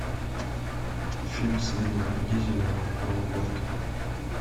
фильм с вином дизелем про гонки